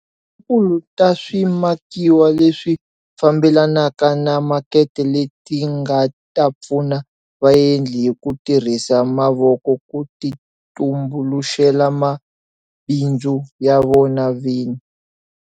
Ta swimakiwa leswi fambelanaka na makete leti nga ta pfuna vaendli hi ku tirhisa mavoko ku titumbuluxela mabindzu ya vona vini.